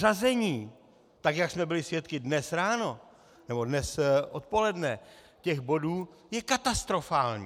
Řazení, tak jak jsme byli svědky dnes ráno, nebo dnes odpoledne, těch bodů je katastrofální.